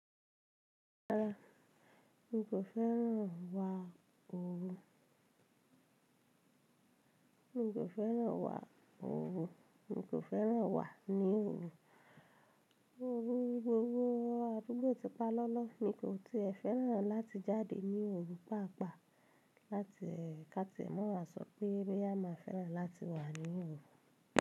Rárá, n kò fẹ́ràn wà òòru, n kò fẹ́ràn wà ní òòru, òòru gbogbo àdúgbò tí pa lọ́lọ́, mi kò ti ẹ fẹ́ràn láti jáde ní òòru pàápàá, láti ẹ ká tí ẹ̀ mọ̀ wa sọ pé bóyá ma fẹ́ràn láti wà ní òòru.